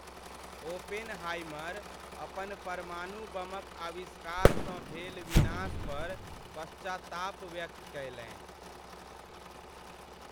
Oppenheimer अपन परमाणु बमक आविष्कारसँ भेल विनाश पर पश्चाताप व्यक्त कयलनि।